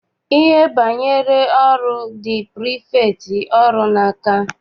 Ihe banyere ọrụ dị prifektị ọrụ n'aka.